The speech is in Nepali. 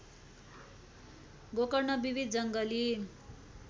गोकर्ण विविध जङ्गली